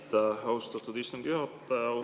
Aitäh, austatud istungi juhataja!